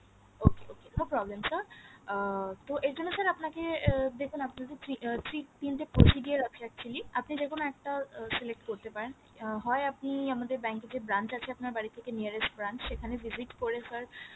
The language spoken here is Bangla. okay okay no problem sir আহ তো এর জন্য sir আপনাকে এ দেখুন আপনাকে three three তিনটে procedure আছে actually আপনি যে কোনো একটা select করতে পারেন হয় আপনি আমাদের bank এ যে branch আছে আপনার বাড়ি থেকে nearest branch সেখানে visit করে sir